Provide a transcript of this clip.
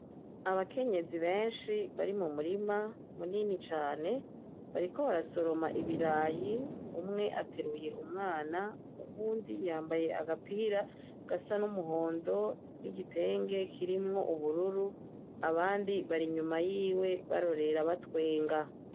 Abakenyezi benshi bari mu murima munini cane, bariko barasoroma ibirayi. Umwe ateruye umwana, uwundi yambaye agapira gasa n'umuhondo n'igitenge kirimwo ubururu. Abandi bari inyuma yiwe barorera, batwenga.